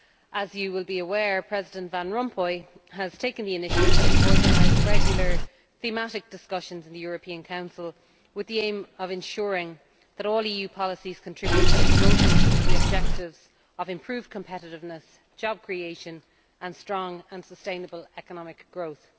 As you will be aware, President Van Rompuy has taken the initiative to organise regular thematic discussions in the European Council with the aim of ensuring that all EU policies contribute to promoting the objectives of improved competitiveness, job creation and strong and sustainable economic growth.